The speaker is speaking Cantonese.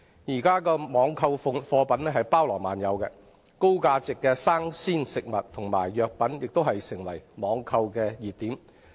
現時網購貨品包羅萬有，高價值的生鮮食物和藥品亦成為網購熱品。